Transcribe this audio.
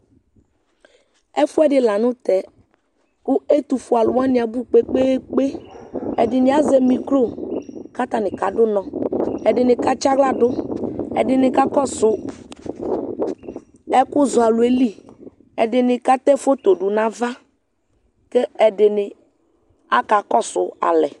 Ɛfʋɛdɩ la nʋ tɛ kʋ ɛtʋfuealʋ wanɩ kpe-kpe-kpe Ɛdɩnɩ azɛ mikro kʋ atanɩ kadʋ ʋnɔ Ɛdɩnɩ katsɩ aɣla dʋ, ɛdɩnɩ kakɔsʋ ɛkʋzɔalʋ yɛ li Ɛdɩnɩ katɛ foto dʋ nʋ ava kʋ ɛdɩnɩ akakɔsʋ alɛ